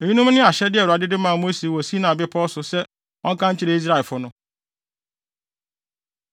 Eyinom ne ahyɛde a Awurade de maa Mose wɔ Sinai Bepɔw so sɛ ɔnka nkyerɛ Israelfo no.